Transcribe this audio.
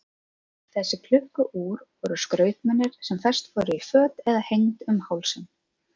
Þessi klukku-úr voru skrautmunir sem fest voru í föt eða hengd um hálsinn.